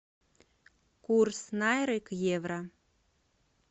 курс найры к евро